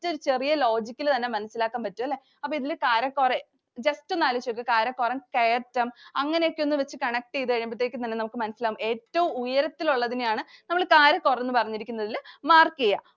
t ഒരു ചെറിയ logic ഇല് തന്നെ മനസിലാക്കാന്‍ പറ്റും അല്ലേ. അപ്പം ഇതില് കാരക്കോറം just ഒന്നാലോചിച്ചു നോക്ക്. കാരക്കോറം കയറ്റം അങ്ങനെയൊക്കെ connect ചെയ്തു കഴിയുമ്പഴത്തേക്ക് തന്നെ നമുക്ക് മനസിലാവും. ഏറ്റവും ഉയരത്തിലുള്ളതിനെയാണ് നമ്മള് കാരക്കോറം എന്ന് പറഞ്ഞിരിക്കുന്നതില്‍ mark ചെയ്യുക.